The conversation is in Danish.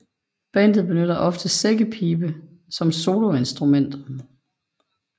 Bandet benytter ofte sækkepibe som soloinstrument